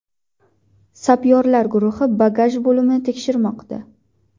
Sapyorlar guruhi bagaj bo‘limini tekshirmoqda.